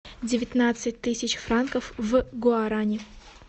девятнадцать тысяч франков в гуаране